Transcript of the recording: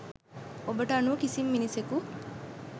ඔබට අනුව කිසිම මිනිසෙකු